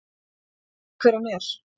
Ég veit ekki hver hann er.